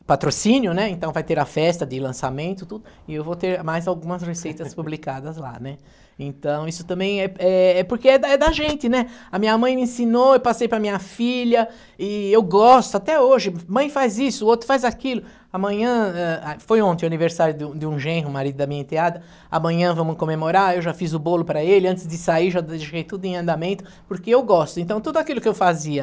o patrocínio né então vai ter a festa de lançamento tudo, e eu vou ter mais algumas receitas publicadas lá né então isso também é é é porque é da é da gente né a minha mãe me ensinou eu passei para minha filha e eu gosto até hoje mãe faz isso outro faz aquilo amanhã ah, eh, foi ontem aniversário de um de um genro marido da minha enteada amanhã vamos comemorar eu já fiz o bolo para ele antes de sair já deixei tudo em andamento porque eu gosto então tudo aquilo que eu fazia